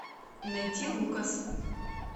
найти лукас